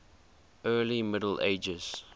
early middle ages